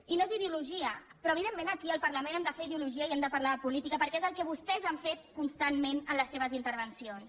i no és ideologia però evidentment aquí al parlament hem de fer ideologia i hem de parlar de política perquè és el que vostès han fet constantment en les seves intervencions